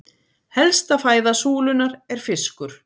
Helsta fæða súlunnar er fiskur.